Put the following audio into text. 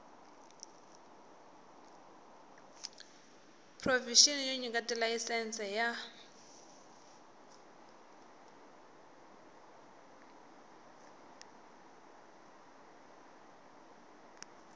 provixini yo nyika tilayisense ya